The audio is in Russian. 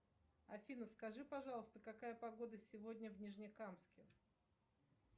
афина скажи пожалуйста какая погода сегодня в нижнекамске